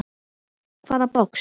Hvaða box?